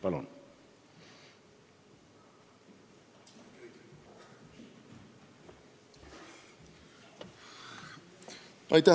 Palun!